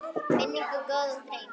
Minning um góðan dreng lifir.